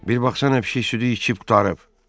Bir baxsan nə pişik südü içib qurtarıb.